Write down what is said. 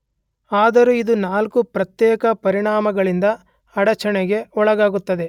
ಆದರೂ ಇದು ನಾಲ್ಕು ಪ್ರತ್ಯೇಕ ಪರಿಣಾಮಗಳಿಂದ ಅಡಚಣೆಗೆ ಒಳಗಾಗುತ್ತದೆ